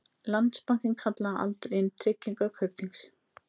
Landsbankinn kallaði aldrei inn tryggingar Kaupþings